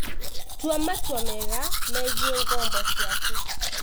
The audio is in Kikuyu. Tua matua mega megiĩ ngombo ciaku.